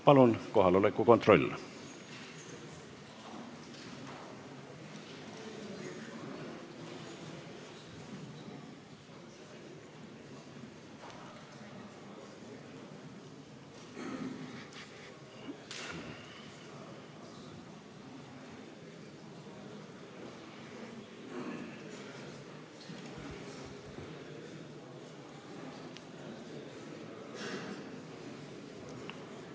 Palun kohaoleku kontroll!